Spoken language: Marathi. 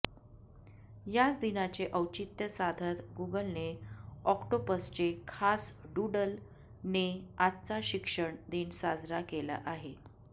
याच दिनाचे औचित्य साधत गुगलने ऑक्टोपसचे खास डूडल ने आजचा शिक्षन दिन साजरा केला आहे